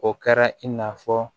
O kɛra i n'a fɔ